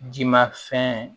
Jimafɛn